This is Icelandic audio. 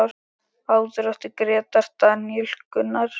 Áður átti Grétar, Daníel Gunnar.